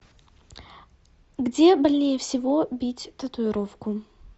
где больнее всего бить татуировку